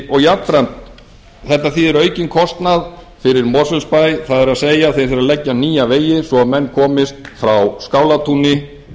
og jafnframt þetta þýðir aukinn kostnað fyrir mosfellsbæ það er þeir þurfa að leggja nýja vegi svo að menn komist frá skálatúni